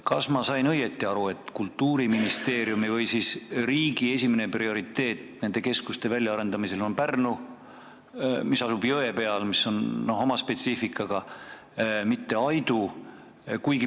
Kas ma sain õigesti aru, et Kultuuriministeeriumi või riigi prioriteet nende keskuste väljaarendamisel on Pärnu keskus, mis asub jõe peal ja mis on oma spetsiifikaga, mitte Aidu?